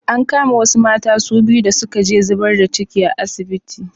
An kama wasu mata su biyu da suka je zibar da ci a asibiti.